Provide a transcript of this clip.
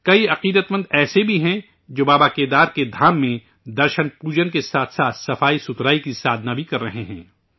کئی عقیدت مند ایسے بھی ہیں جو بابا کیدار کے دھام میں درشن پوجن کے ساتھ ساتھ سوچھتا کی سادھنا بھی کررہے ہیں